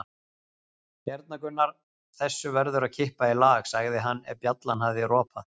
Hérna Gunnar, þessu verður að kippa í lag, sagði hann ef bjallan hafði ropað.